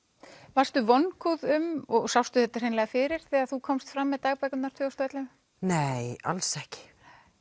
varstu vongóð um og sástu þetta hreinlega fyrir þegar þú komst fram með dagbækurnar tvö þúsund og ellefu nei alls ekki